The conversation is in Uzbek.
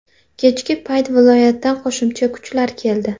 Kechki payt viloyatdan qo‘shimcha kuchlar keldi.